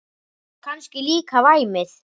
Og kannski líka væmið.